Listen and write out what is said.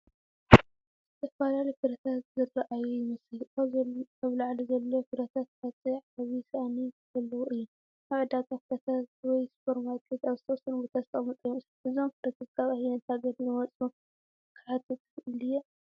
ዝተፈላለዩ ፍረታት ዝተርኣዩ ይመስል። ኣብ ላዕሊ ዘሎ ፍረታት ቅርጺ ዓቢ ሳእኒ ዘለዎ እዩ፡፡ ኣብ ዕዳጋ ፍረታት ወይ ሱፐርማርኬት ኣብ ዝተወሰነ ቦታ ዝተቐመጠ ይመስል። እዞም ፍረታት ካብ ኣየነይቲ ሃገር ዝመጹ ክሓትት ይኽእል ድየ?